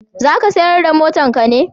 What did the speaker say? za ka sayar da motan ka ne?